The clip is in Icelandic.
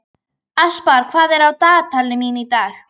Aspar, hvað er á dagatalinu mínu í dag?